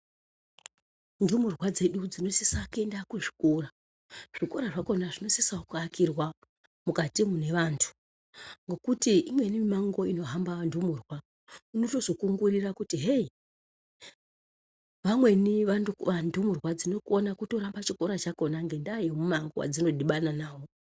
Ndumurwa dzedu dzinosisa kuenda kuzvikora. Zvikora zvakona zvinosisawo kuakirwa mukati mune vantu ngokuti imweni mimango inohamba vandumurwa, unotozokungurira kuti heyi! Vamweni vandumurwa dzinokona kutoramba chikora chakona ngendaa yemumango wadzinodhibana nawo.